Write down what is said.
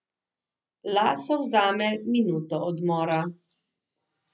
Laso vzame minuto odmora.